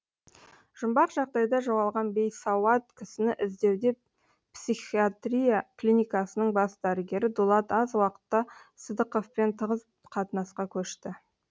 жұмбақ жағдайда жоғалған бейсауат кісіні іздеуде психатрия клиникасының бас дәрігері дулат аз уақытта сыдықовпен тығыз қатынасқа көшті